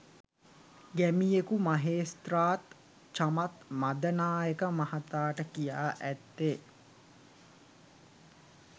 ගැමියකු මහේස්ත්‍රාත් චමත් මදනායක මහතාට කියා ඇත්තේ